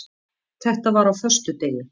Þetta var á föstudegi.